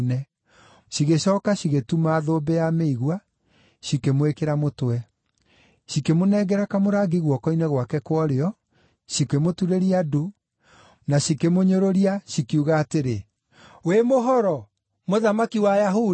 cigĩcooka cigĩtuma thũmbĩ ya mĩigua, cikĩmwĩkĩra mũtwe. Cikĩmũnengera kamũrangi guoko-inĩ gwake kwa ũrĩo, cikĩmũturĩria ndu, na cikĩmũnyũrũria, cikiuga atĩrĩ, “Wĩ mũhoro, mũthamaki wa Ayahudi!”